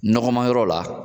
Nɔgɔmayɔrɔ la